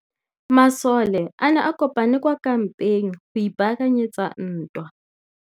Masole a ne a kopane kwa kampeng go ipaakanyetsa ntwa.